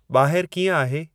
ॿाहिरु कीअं आहे